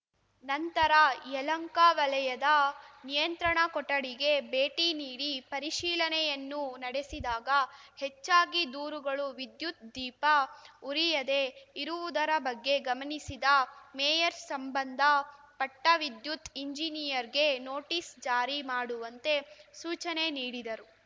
ನಂತರ ಯಲಹಂಕ ವಲಯದ ನಿಯಂತ್ರಣ ಕೊಠಡಿಗೆ ಭೇಟಿ ನೀಡಿ ಪರಿಶೀಲನೆಯನ್ನು ನಡೆಸಿದಾಗ ಹೆಚ್ಚಾಗಿ ದೂರುಗಳು ವಿದ್ಯುತ್‌ ದೀಪ ಉರಿಯದೇ ಇರುವುದರ ಬಗ್ಗೆ ಗಮನಿಸಿದ ಮೇಯರ್‌ ಸಂಬಂದ ಪಟ್ಟವಿದ್ಯುತ್‌ ಎಂಜಿನಿಯರ್‌ಗೆ ನೋಟಿಸ್‌ ಜಾರಿ ಮಾಡುವಂತೆ ಸೂಚನೆ ನೀಡಿದರು